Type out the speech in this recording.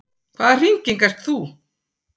Hvaða hringing ert þú?